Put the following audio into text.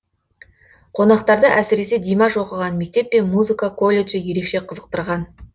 қонақтарды әсіресе димаш оқыған мектеп пен музыка колледжі ерекше қызықтырған